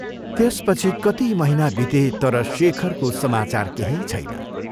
त्यसपछि कति महीना बिते तर शेखरको समाचार केही छैन।